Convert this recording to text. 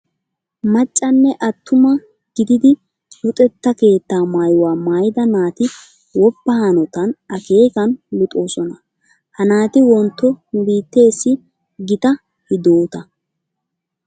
Macca nne attuma gididi luxetta keettaa maayuwa maayida naati woppa hanotan akeekan luxoosona. Ha naati wontto nu biitteessi gita hidoota.